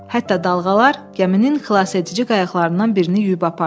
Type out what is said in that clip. Hətta dalğalar gəminin xilasedici qayıqlarından birini yuyub apardı.